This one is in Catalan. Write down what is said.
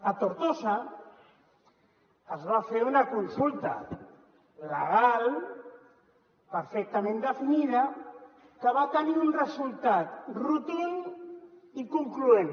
a tortosa es va fer una consulta legal perfectament definida que va tenir un resultat rotund i concloent